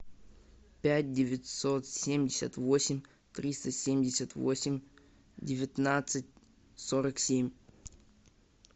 пять девятьсот семьдесят восемь триста семьдесят восемь девятнадцать сорок семь